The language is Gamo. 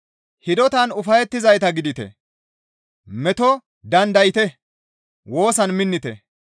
Hidotan ufayettizayta gidite; meto dandayte; woosan minnite.